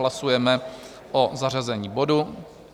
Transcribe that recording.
Hlasujeme o zařazení bodu.